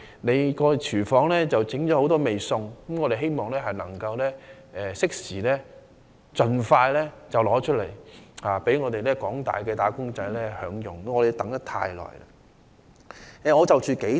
他的"廚房"已準備多道菜餚，我希望他能夠適時及盡快端上飯桌，供廣大"打工仔"享用，因為他們已等候良久。